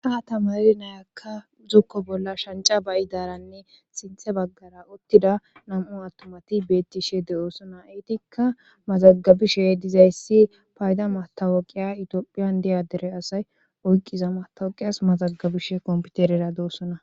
ha tamari nayakka zukko bolla shanca bayi daaranne sinthe baggara ottida nam7u attomati beettishe de7oosona eetikka mazagabishe dizayssi payda matawoqiya itiophiyan diyadere asay oyqqiza matawoqiyas mazagabishe kompiterera doossona